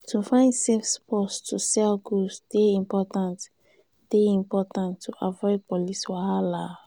to find safe spots to sell goods dey important dey important to avoid police wahala.